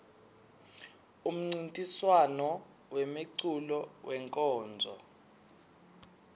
umncintiswam wemeculo wenkonzo